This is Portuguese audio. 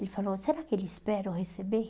Ele falou, será que ele espera eu receber?